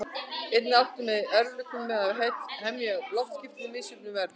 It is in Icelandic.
Einnig áttu menn í erfiðleikum með að hemja loftskipin í misjöfnum veðrum.